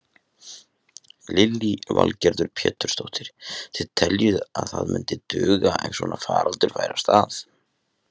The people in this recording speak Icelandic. Lillý Valgerður Pétursdóttir: Þið teljið að það myndi duga ef svona faraldur færi af stað?